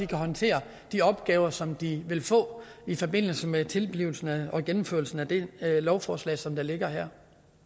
kan håndtere de opgaver som de vil få i forbindelse med tilblivelsen og gennemførelsen af det lovforslag som ligger her